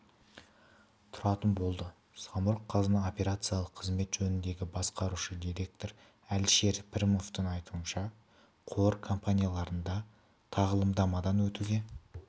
тұратын болды самұрық-қазына операциялық қызмет жөніндегі басқарушы директоры әлішер пірметовтің айтуынша қор компанияларында тағылымдамадан өтуге